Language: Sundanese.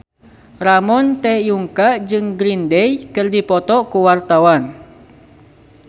Ramon T. Yungka jeung Green Day keur dipoto ku wartawan